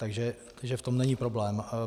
Takže v tom není problém.